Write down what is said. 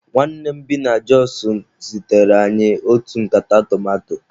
Nwanne nne m bi na Jọs zitere anyị otu nkata tomato.